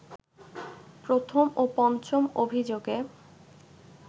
প্রথম ও পঞ্চম অভিযোগে